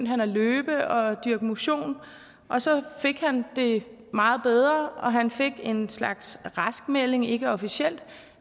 han at løbe og dyrke motion og så fik han det meget bedre og han fik en slags raskmelding ikke officielt